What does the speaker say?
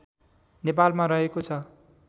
नेपालमा रहेको छ